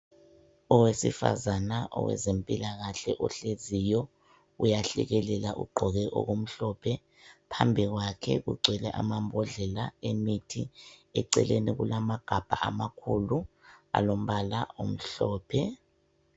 Owesifazana owezempilakahle ohleziyo, uyahlekelela, ugqoke okumhlophe. Phambi kwakhe kugcwele amambodlela emithi eceleni kulamagabha amakhulu alombala omhlophe.